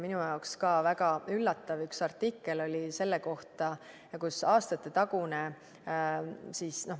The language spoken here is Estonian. Minu jaoks oli väga üllatav üks artikkel selle kohta, kus aastatetagune...